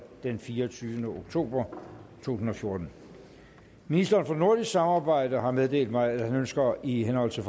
den fireogtyvende oktober to tusind og fjorten ministeren for nordisk samarbejde har meddelt mig at han ønsker i henhold til